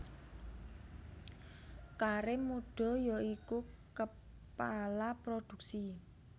Karim Muda ya iku Kepala Produksi